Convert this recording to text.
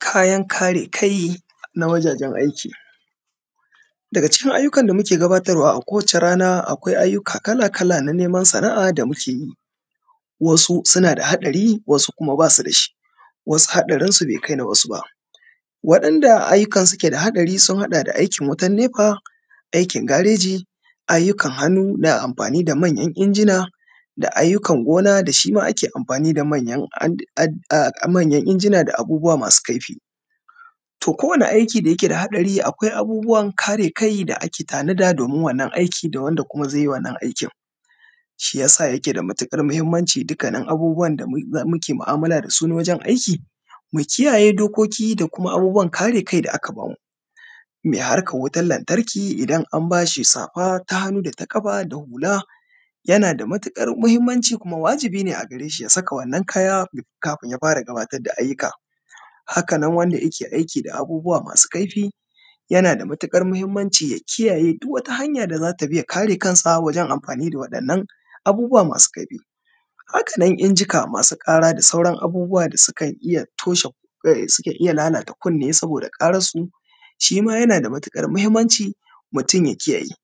Kayan kare kai na wajajen aiki. Daga cikin ayyukan da muke gabatarwa a kowace rana akwai ayyuka kala kala na neman Sana’a da muke yi, wasu suna da haɗari wasu kuma basu dashi, wasu haɗarinsu bai kai na wasu ba. Wadanɗa ayyukansu ke da haɗari sun hada da aikin wutan nefa, aikin gareji, ayyukan hannu na amfani da manyan injina, da ayyukan gona da shima ake amfani ad, manyan injina da abubuwa masu kaifi. To kowane aiki dake da haɗari akwai abubuwan kare kai da ake tanada domin wannan aiki da wanda kuma zai yi wannan aikin. Shiyasa yake da matuƙar mahimmanci dukkanin abubuwan da muke mu’amala da su wajen aiki mu kiyayye dokoki da kuma abubuwan kare kai da aka bamu. Mai harkan wutan lantarki idan an bashi safa ta hannu data ƙafa da hula yana da mutuƙar muhimmanci kuma wajibi ne a gare shi ya saka wannan kaya kafin ya fara gabatar da ayyuka. Haka nan wanda yake gabatar da da ayyuka da abubuwa masu kaifi yana da matukar muhimmanci ya kiyayye duk wani hanya da zata bi ya kare kansa wajen amfani da wadan nan abubuwa masu kaifi. Haka nan injika masu ƙara da sauran abubuwa da suke iya toshe, sukan iya lalata kuni saboda karansu shima yana da matuƙar mahimmanci mutum ya kiyaye.